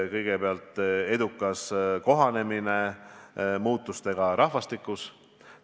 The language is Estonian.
Kõigepealt, edukas kohanemine muutustega rahvastikus.